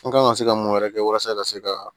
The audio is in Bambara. An kan ka se ka mun wɛrɛ kɛ walasa ka se ka